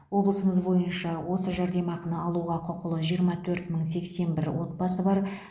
облысымыз бойынша осы жәрдемақыны алуға құқылы жиырма төрт мың сексен бір отбасы бар